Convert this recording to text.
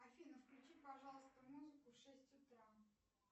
афина включи пожалуйста музыку в шесть утра